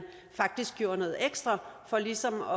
faktisk gjorde noget ekstra for ligesom at